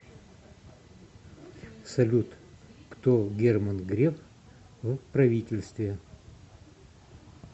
салют кто герман греф в правительстве